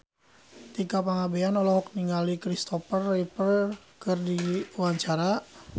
Tika Pangabean olohok ningali Kristopher Reeve keur diwawancara